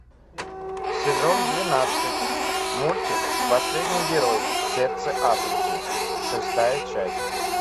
сезон двенадцать мультик последний герой сердце африки шестая часть